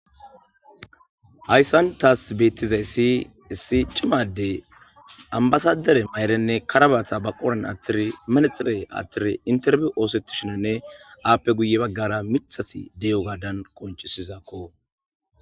Haysan tas betizaysi issi c'ima adey ambasadere mayrine karabata ba qoren atiri menedhre atiri interview osetishinine ape guye bagara mitazi de'iyogadan qonc'sizako.